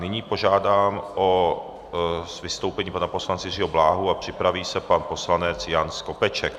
Nyní požádám o vystoupení pana poslance Jiřího Bláhu a připraví se pan poslanec Jan Skopeček.